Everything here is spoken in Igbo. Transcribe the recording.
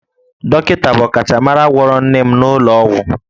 Dọkịta bụ ọkachamara gwọrọ nne m n'ụlọ ọgwụ